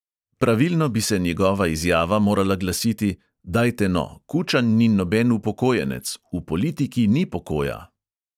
Pravilno bi se njegova izjava morala glasiti: "dajte no, kučan ni noben upokojenec, v politiki ni pokoja."